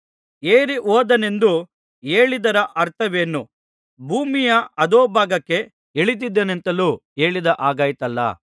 ಏರಿಹೋದನೆಂದು ಹೇಳಿದ್ದರ ಅರ್ಥವೇನು ಭೂಮಿಯ ಅಧೋಭಾಗಕ್ಕೆ ಇಳಿದಿದ್ದನೆಂತಲೂ ಹೇಳಿದ ಹಾಗಾಯಿತಲ್ಲಾ